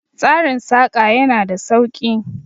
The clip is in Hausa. Tsarin Saƙa ya na da sauki